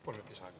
Palun lisaaega.